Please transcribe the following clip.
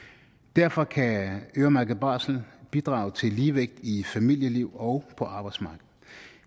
derfor kan øremærket barsel bidrage til ligevægt i forhold familieliv og på arbejdsmarkedet